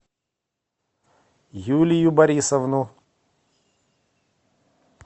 юлию борисовну